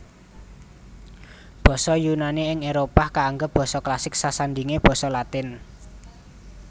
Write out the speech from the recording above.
Basa Yunani ing Éropah kaanggep basa klasik sasandhingé basa Latin